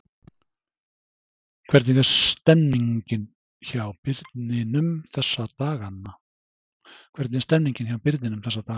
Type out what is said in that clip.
Hvernig er stemningin hjá Birninum þessa dagana?